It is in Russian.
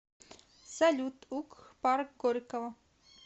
салют угх парк горького